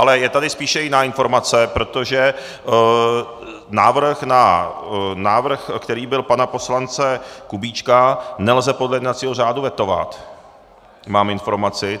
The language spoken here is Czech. Ale je tady spíše jiná informace, protože návrh, který byl pana poslance Kubíčka, nelze podle jednacího řádu vetovat, mám informaci.